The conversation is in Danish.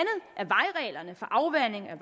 reglerne for afvanding af